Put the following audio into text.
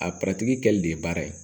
A kɛlen de ye baara ye